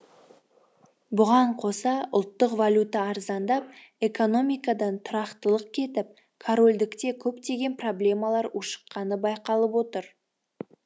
бұған қоса ұлттық валюта арзандап экономикадан тұрақтылық кетіп корольдікте көптеген проблемалар ушықққаны байқалып отыр